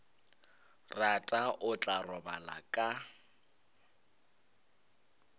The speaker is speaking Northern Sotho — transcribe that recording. rata o tla robala ka